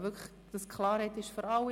Damit Klarheit für alle besteht: